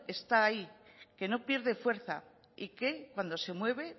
está ahí que no pierde fuerza y que cuando se mueve